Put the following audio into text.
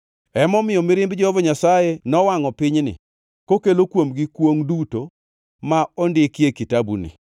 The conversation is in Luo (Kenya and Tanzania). Emomiyo mirimb Jehova Nyasaye nowangʼo pinyni, kokelo kuomgi kwongʼ duto ma ondiki e kitabuni.